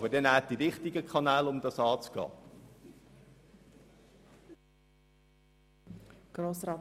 Aber wählen Sie die richtigen Kanäle, um das anzugehen.